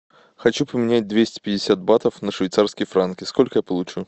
хочу поменять двести пятьдесят батов на швейцарские франки сколько я получу